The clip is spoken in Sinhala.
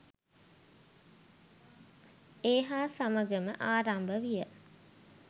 ඒ හා සමගම ආරම්භ විය.